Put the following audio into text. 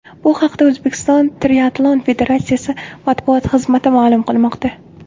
Bu haqda O‘zbekiston triatlon federatsiyasi matbuot xizmati ma’lum qilmoqda.